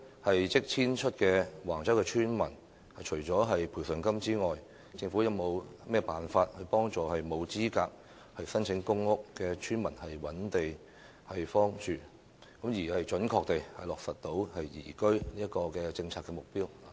對於即將遷出的橫洲村民，政府除了提供賠償金外，會否有其他方法幫助沒有資格申請公屋的村民尋覓居所，準確地落實宜居的政策目標？